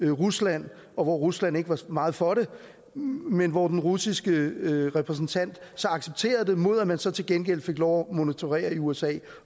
rusland og hvor rusland ikke var meget for det men hvor den russiske repræsentant så accepterede det mod at man så til gengæld fik lov monitorere i usa